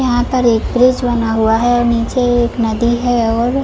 यहाँ पर एक ब्रिज बना हुवा है और निचे एक नदी है और--